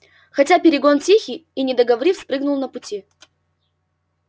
хотя перегон тихий и не договорив спрыгнул на пути